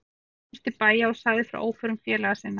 Hann komst til bæja og sagði frá óförum félaga sinna.